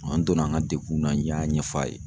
An donna an ka degun na n y'a ɲɛfɔ a ye.